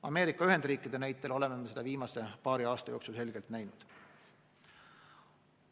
Ameerika Ühendriikide näitel oleme seda viimase paari aasta jooksul selgelt näinud.